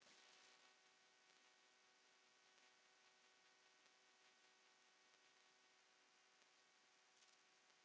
Magnús Hlynur Hreiðarsson: Þessar kýr eru í umboði ykkar?